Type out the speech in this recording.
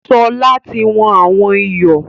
Sọlá tí wọn àwọn ìyọ̀